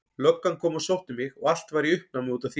Löggan kom heim og sótti mig og allt var í uppnámi út af því.